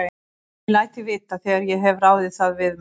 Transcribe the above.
Ég læt þig vita, þegar ég hef ráðið það við mig